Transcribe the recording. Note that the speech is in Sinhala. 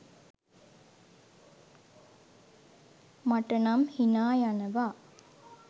මට නම් හිනා යනවා.